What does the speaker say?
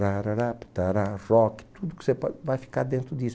Rock, tudo que você pode, vai ficar dentro disso.